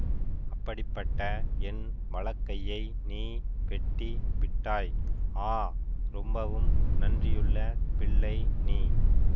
அப்படிப்பட்ட என் வலக்கையை நீ வெட்டி விட்டாய் ஆ ரொம்பவும் நன்றியுள்ள பிள்ளை நீ